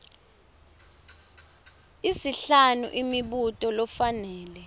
isihlanu imibuto lofanele